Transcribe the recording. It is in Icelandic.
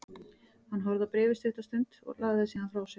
Hann horfði á bréfið stutta stund, lagði það síðan frá sér.